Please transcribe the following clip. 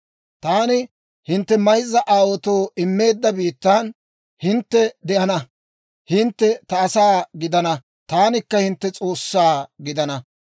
Taani hintte mayzza aawaatoo immeedda biittan hintte de'ana; hintte ta asaa gidana; taanikka hintte S'oossaa gidana.